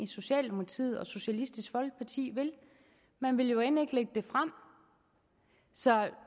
socialdemokratiet og socialistisk folkeparti vil man vil jo end ikke lægge det frem så